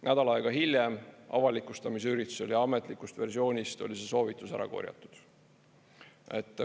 Nädal aega hiljem avalikustamise üritusel ametlikust versioonist oli see soovitus ära korjatud.